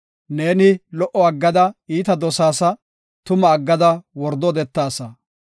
Ne lo77o aggada iita dosaasa; tuma aggada wordo odetaasa. Salaha